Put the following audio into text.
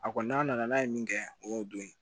A kɔni n'a nana n'a ye min kɛ o y'o don ye